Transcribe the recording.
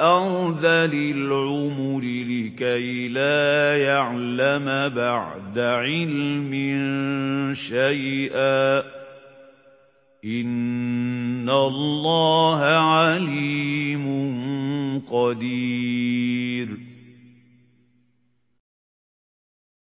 أَرْذَلِ الْعُمُرِ لِكَيْ لَا يَعْلَمَ بَعْدَ عِلْمٍ شَيْئًا ۚ إِنَّ اللَّهَ عَلِيمٌ قَدِيرٌ